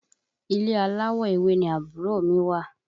Ilé aláwọ̀ ewé ni àbúrò mi wà